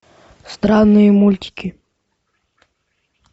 странные мультики